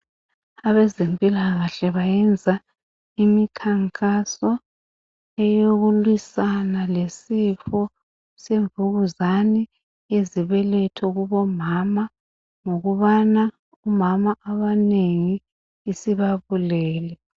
Abezempilakahle bayenza imikhankaso eyokulwisana lesifo semvukuzane, izibeletho kubo mama ngokubana omama abanengi isibabulele.